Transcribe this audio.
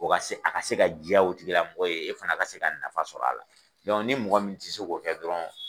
A ka se ka diya o tigilamɔgɔ ye e fana ka se ka nafa sɔrɔ a la ni mɔgɔ min tɛ se k'o kɛ dɔrɔn